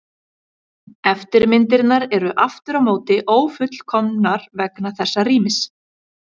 Eftirmyndirnar eru aftur á móti ófullkomnar vegna þessa rýmis.